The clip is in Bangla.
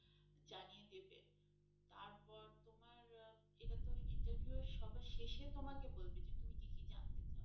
জানিয়ে দেবে তারপর তোমার এটাতো interview এর সবার শেষে তোমাকে বলবে যে তুমি কি কি জানতে চাও।